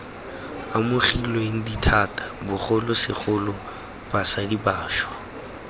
amogilweng dithata bogolosegolo basadi bašwa